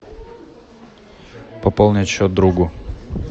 пополнить счет другу